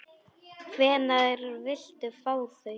Hvenær viltu fá þau?